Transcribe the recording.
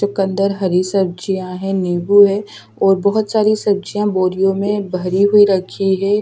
चुकंदर हरी सब्जियां है नींबू है और बहुत सारी सब्जियां बोरियों में भरी हुई रखी है।